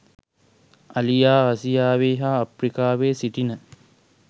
අලියා ආසියාවේ හා අප්‍රිකාවේ සිටින